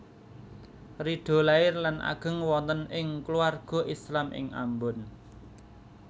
Ridho lair lan ageng wonten ing kulawarga Islam ing Ambon